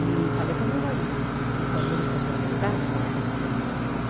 E falei para o meu marido que quando ele se aposentar, a gente vai morar para lá.